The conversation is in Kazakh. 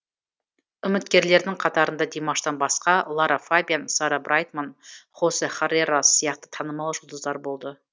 үміткерлердің қатарында димаштан басқа лара фабиан сара брайтман хосе харрерас сияқты танымал жұлдыздар болды